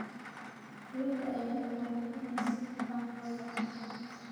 Xoolaha ayaa u baahan in si hufan loo dhaqo.